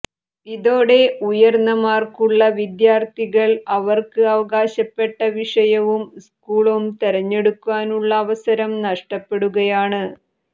ഇതോടെ ഉയർന്ന മാർക്കുള്ള വിദ്യാർഥികൾ അവർക്ക് അവകാശപ്പെട്ട വിഷയവും സ്കൂളും തെരഞ്ഞെടുക്കാനുള്ള അവസരം നഷ്ടപ്പെടുകയാണ്